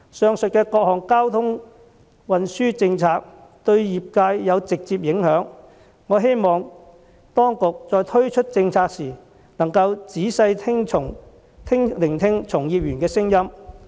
上述的各項交通運輸政策對業界有直接影響，我希望當局在推出政策時，能夠仔細聆聽從業員的聲音。